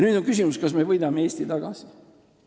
Nüüd on küsimus, kas me võidame Eesti tagasi.